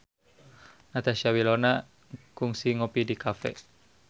Natasha Wilona kungsi ngopi di cafe